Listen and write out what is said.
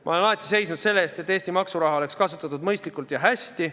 Ma olen alati seisnud selle eest, et Eesti maksuraha oleks kasutatud mõistlikult ja hästi.